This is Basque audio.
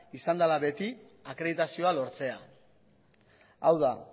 izan dela beti akreditazioa lortzea hau da